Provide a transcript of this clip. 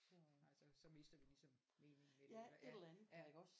Nej så så mister du ligesom meningen med den ja ja